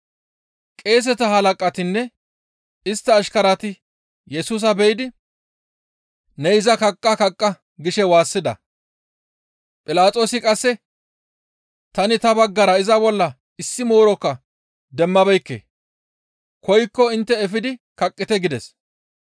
Qeeseta halaqatinne istta ashkarati Yesusa be7idi, «Ne iza kaqqa! Kaqqa!» gishe waassida. Philaxoosi qasse, «Tani ta baggara iza bolla issi moorokka demmabeekke; koykko intte efidi kaqqite» gides.